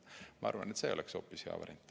Ma arvan, et hoopis see oleks hea variant.